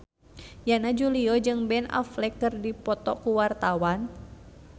Yana Julio jeung Ben Affleck keur dipoto ku wartawan